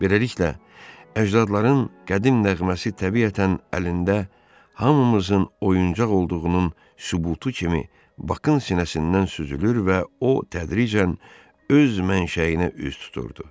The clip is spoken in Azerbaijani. Beləliklə, əcdadların qədim nəğməsi təbiətən əlində hamımızın oyuncaq olduğunun sübutu kimi Bakın sinəsindən süzülür və o tədricən öz mənşəyinə üz tuturdu.